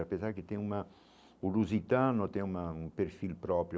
Apesar que tem uma o lusitano tem uma um perfil próprio.